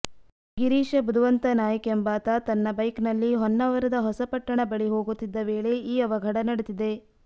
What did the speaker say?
ಗಿರೀಶ ಬುಧವಂತ ನಾಯ್ಕ ಎಂಬಾತ ತನ್ನ ಬೈಕ್ ನಲ್ಲಿ ಹೊನ್ನಾವರದ ಹೊಸಪಟ್ಟಣ ಬಳಿ ಹೋಗುತ್ತಿದ್ದ ವೇಳೆ ಈ ಅವಘಢ ನಡೆದಿದೆ